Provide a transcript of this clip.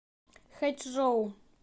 хэчжоу